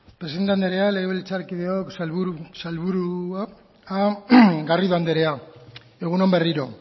presidente anderea legebiltzarkideok sailburuok garrido andrea egun on berriro